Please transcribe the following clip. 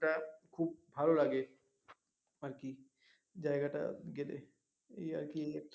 তা খুব ভালো লাগে আরকি জায়গাটা গেলে এই আর কি